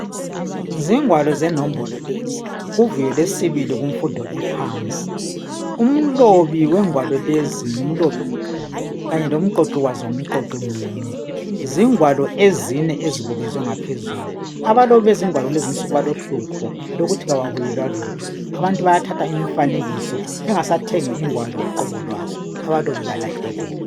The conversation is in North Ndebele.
Zingwalo zenombolo lezi kuvuyo lwesibili kufundo yemfundo ephansi. Umlobi wengwalo lezi ngumlobi munye kanye lomqoqi wazo ngumqoqi munye. Zingwalo ezine ezezinga zangaphezulu. Abalobi bezingalo kulezi insuku balohlupho lokuthi ababuyelwa lutho abantu bayathatha imfanekiso bengasathengi ingwalo uqobo lwazo kubalahlekela.